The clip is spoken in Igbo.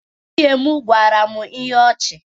Nwunye m gwara m ihe ọchị.